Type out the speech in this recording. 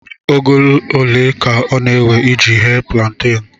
Oge ole ka ọ na-ewe iji ghee púlanténú